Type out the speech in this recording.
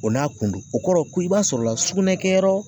O n'a kun do o kɔrɔ ko i b'a sɔrɔla sugunɛ kɛyɔrɔ.